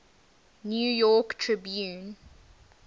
new york tribune